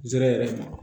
Zɛrɛ